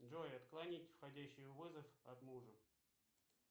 джой отклонить входящий вызов от мужа